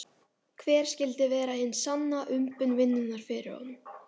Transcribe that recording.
Hver skyldi vera hin sanna umbun vinnunnar fyrir honum?